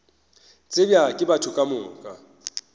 tsebja ke batho ka moka